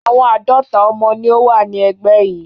Àwọn àádọ́ta ọmọ ni ó wà ní ẹgbẹ́ yìí.